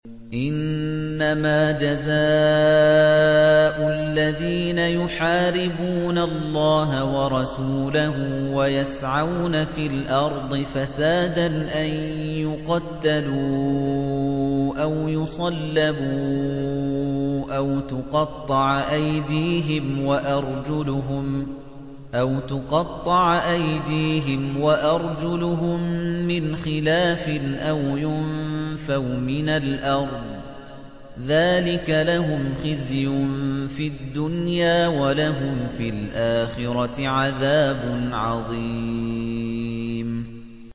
إِنَّمَا جَزَاءُ الَّذِينَ يُحَارِبُونَ اللَّهَ وَرَسُولَهُ وَيَسْعَوْنَ فِي الْأَرْضِ فَسَادًا أَن يُقَتَّلُوا أَوْ يُصَلَّبُوا أَوْ تُقَطَّعَ أَيْدِيهِمْ وَأَرْجُلُهُم مِّنْ خِلَافٍ أَوْ يُنفَوْا مِنَ الْأَرْضِ ۚ ذَٰلِكَ لَهُمْ خِزْيٌ فِي الدُّنْيَا ۖ وَلَهُمْ فِي الْآخِرَةِ عَذَابٌ عَظِيمٌ